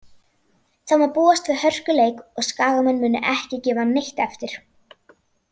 Það má búast við hörkuleik og Skagamenn munu ekki gefa neitt eftir.